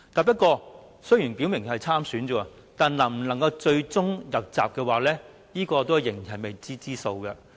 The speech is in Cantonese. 不過，雖然他們表明會參選，但最終能否入閘，仍然是未知之數。